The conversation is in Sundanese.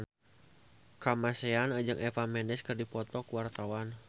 Kamasean jeung Eva Mendes keur dipoto ku wartawan